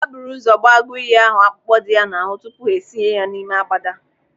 Ha buru ụzọ gbaa agụiyi ahụ akpụkpọ dị ya n'ahụ tupu ha esinye ya ime agbada.